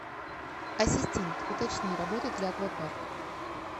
ассистент уточни работает ли аквапарк